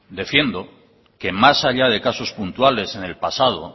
defiendo que más allá que casos puntuales en el pasado